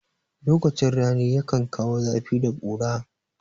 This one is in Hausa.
Lokacin rani yakan kawo zafi da ƙura.